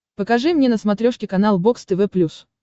покажи мне на смотрешке канал бокс тв плюс